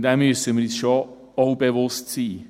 Dessen müssen wir uns schon auch bewusst sein.